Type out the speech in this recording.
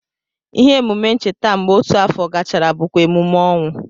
Ime emume ncheta mgbe otu afọ gachara bụkwa emume ọnwụ